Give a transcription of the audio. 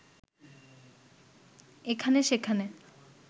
এখানে-সেখানে